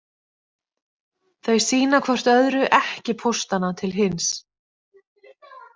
Þau sýna hvort öðru ekki póstana til hins.